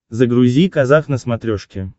загрузи казах на смотрешке